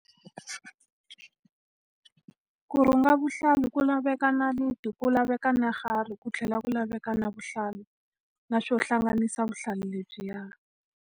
Ku rhunga vuhlalu ku laveka nayiti, ku laveka na ku tlhela ku laveka na vuhlalu. Na swo hlanganisa vuhlalu lebyiya.